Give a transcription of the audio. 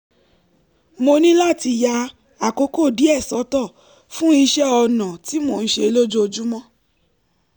mo ní láti ya àkókò díẹ̀ sọ́tọ̀ fún iṣẹ́ ọnà tí mò ń ṣe lójoojúmọ́